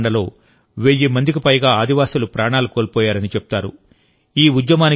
ఈ మారణకాండలో వెయ్యి మందికి పైగా ఆదివాసి ప్రాణాలు కోల్పోయారని చెప్తారు